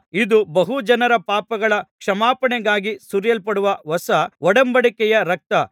ಇದು ಬಹು ಜನರ ಪಾಪಗಳ ಕ್ಷಮಾಪಣೆಗಾಗಿ ಸುರಿಸಲ್ಪಡುವ ಹೊಸ ಒಡಂಬಡಿಕೆಯ ರಕ್ತ